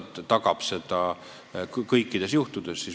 Kas see tagaks selle kõikidel juhtumitel?